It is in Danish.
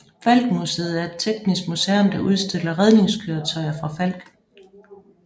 Falck Museet er et teknisk museum der udstiller redningskøretøjer fra Falck